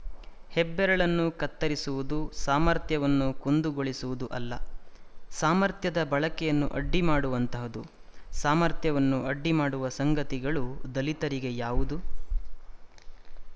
ಹೆಬ್ಬೆರಳನ್ನು ಕತ್ತರಿಸಿರುವುದು ಸಾಮರ್ಥ್ಯವನ್ನು ಕುಂದುಗೊಳಿಸುವುದು ಅಲ್ಲ ಸಾಮರ್ಥ್ಯದ ಬಳಕೆಯನ್ನು ಅಡ್ಡಿಮಾಡುವಂತಹದು ಸಾಮರ್ಥ್ಯವನ್ನು ಅಡ್ಡಿ ಮಾಡುವ ಸಂಗತಿಗಳು ದಲಿತರಿಗೆ ಯಾವುದು